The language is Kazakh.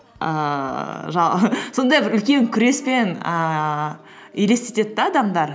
ііі жа сондай бір үлкен күреспен ііі елестетеді де адамдар